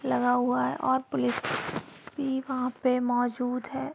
लगा हुआ है औ पुलिस भी वहाँ पे मौजूद है।